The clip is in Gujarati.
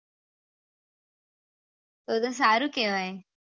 તો તો સારું કેહવાય